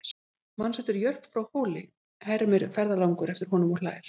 Manstu eftir Jörp frá Hóli, hermir ferðalangur eftir honum og hlær.